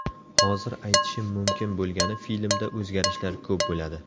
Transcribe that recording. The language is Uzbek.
Hozir aytishim mumkin bo‘lgani filmda o‘zgarishlar ko‘p bo‘ladi.